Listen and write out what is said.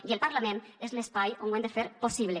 i el parlament és l’espai on ho hem de fer possible